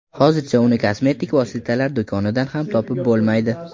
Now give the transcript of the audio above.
Hozircha uni kosmetik vositalar do‘konidan ham topib bo‘lmaydi.